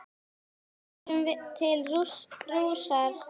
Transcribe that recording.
Fórum til Rúnars Við Tjörnina eitt hádegi.